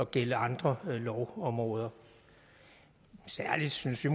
gælder andre lovområder vi synes at